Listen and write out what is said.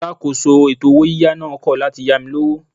Alákòóso ètò owó yíyá náà kọ̀ láti yá mi lówó.